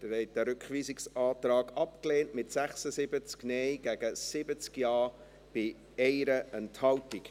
Sie haben diesen Rückweisungsantrag abgelehnt, mit 76 Nein- gegen 70 Ja-Stimmen bei 1 Enthaltung.